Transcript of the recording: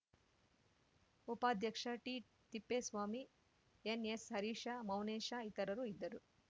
ಉಪಾಧ್ಯಕ್ಷ ಟಿತಿಪ್ಪೇಸ್ವಾಮಿ ಎನ್‌ಎಸ್‌ಹರೀಶ ಮೌನೇಶ ಇತರರು ಇದ್ದರು